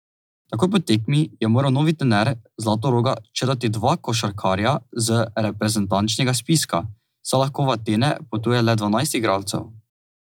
Takoj po tekmi je moral novi trener Zlatoroga črtati dva košarkarja z reprezentančnega spiska, saj lahko v Atene potuje le dvanajst igralcev.